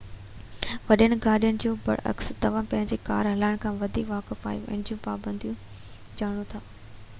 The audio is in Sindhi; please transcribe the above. وڏين گاڏين جي بر عڪس توهان پنهنجي ڪار هلائڻ کان پهرين واقف آهيو ۽ ان جو پابنديون ڄاڻو ٿا